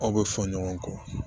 Aw bɛ fɔ ɲɔgɔn kɔ